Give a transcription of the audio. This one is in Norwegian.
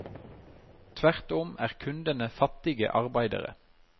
Tvert om er kundene fattige arbeidere.